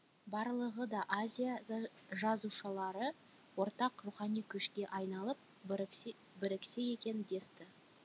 барлығы да азия жазушылары ортақ рухани күшке айналып біріксе біріксе екен десті